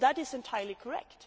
That is entirely correct.